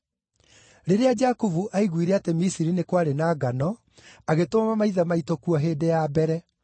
Rĩrĩa Jakubu aiguire atĩ Misiri nĩ kwarĩ na ngano, agĩtũma maithe maitũ kuo hĩndĩ ya mbere.